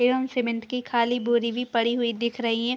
एवं सीमेंट की खाली बोरी भी पड़ी हुई दिख रही है।